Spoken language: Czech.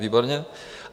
Výborně.